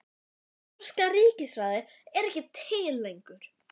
Norska ríkisráðið er ekki til lengur!